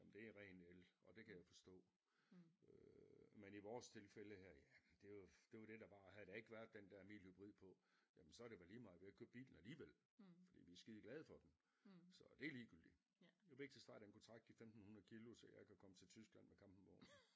Jamen det er ren el og det kan jeg forstå øh men i vores tilfælde her jamen det jo det var det der var og havde der ikke været den der mild hybrid på jamen så det vel ligemeget vi har jo ikke købt bilen alligevel fordi vi skide glade for den så det ligegyldigt jo vigtigst var at den kunne trække de 1500 kilo så jeg kan komme til Tyskland med campingvognen